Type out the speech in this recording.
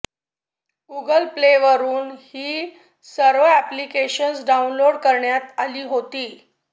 Google प्लेवरून ही सर्व अॅप्लिकेशन्स डाऊनलोड करण्यात आली होती